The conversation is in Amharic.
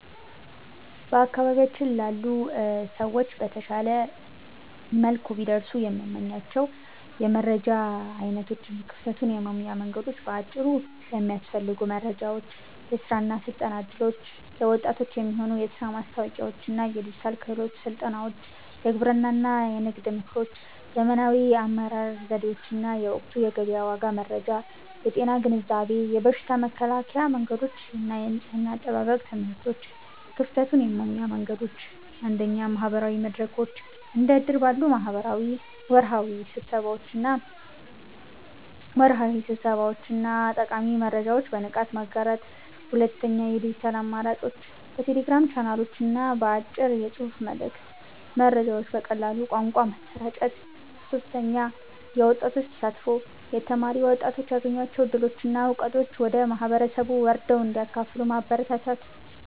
በአካባቢያችን ላሉ ሰዎች በተሻለ መልኩ ቢደርሱ የምመኛቸው የመረጃ ዓይነቶች እና ክፍተቱን የመሙያ መንገዶች በአጭሩ፦ የሚያስፈልጉ መረጃዎች፦ የሥራ እና ሥልጠና ዕድሎች፦ ለወጣቶች የሚሆኑ የሥራ ማስታወቂያዎችና የዲጂታል ክህሎት ሥልጠናዎች። የግብርና እና ንግድ ምክሮች፦ ዘመናዊ የአመራረት ዘዴዎችና የወቅቱ የገበያ ዋጋ መረጃ። የጤና ግንዛቤ፦ የበሽታ መከላከያ መንገዶችና የንጽሕና አጠባበቅ ትምህርቶች። ክፍተቱን የመሙያ መንገዶች፦ 1. ማህበራዊ መድረኮች፦ እንደ እድር ባሉ ወርሃዊ ስብሰባዎች ላይ ጠቃሚ መረጃዎችን በንቃት ማጋራት። 2. የዲጂታል አማራጮች፦ በቴሌግራም ቻናሎችና በአጭር የጽሑፍ መልዕክት መረጃዎችን በቀላል ቋንቋ ማሰራጨት። 3. የወጣቶች ተሳትፎ፦ የተማሩ ወጣቶች ያገኟቸውን ዕድሎችና ዕውቀቶች ወደ ማህበረሰቡ ወርደው እንዲያካፍሉ ማበረታታት።